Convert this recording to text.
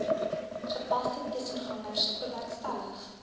gepaste tussengangers bewerkstellig